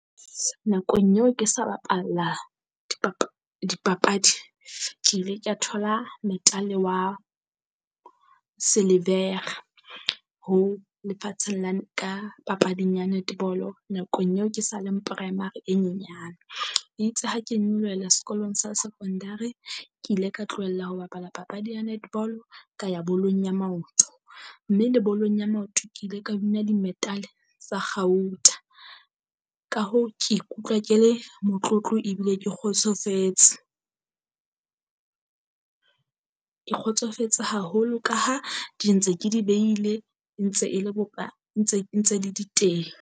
Nakong eo ke sa bapalla dipapadi, ke ile kea thola meda-e wa silivera ho lefatsheng la ka papading ya netball-o nakong eo ke sa le primary e nyenyane. E itse ha ke nyolohela sekolong sa secondary, ke ile ka tlohella ho bapala papadi ya netball ka ya bolong ya maoto. Mme le bolong ya maoto ke ile ka win-a di-medal tsa kgauta. Ka hoo ke ikutlwa ke le motlotlo ebile ke kgotsofetse. Ke kgotsofetse haholo ka ha di ntse ke di behile e ntse e le ntse le di teng.